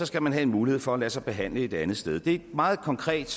skal man have mulighed for at lade sig behandle et andet sted det er et meget konkret